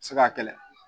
Se ka kɛlɛ